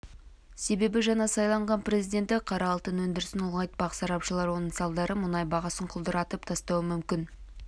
себебі жаңа сайланған президенті қара алтын өндірісін ұлғайтпақ сарапшылар оның салдары мұнай бағасын құлдыратып тастауы мүмкін